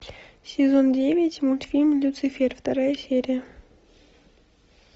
сезон девять мультфильм люцифер вторая серия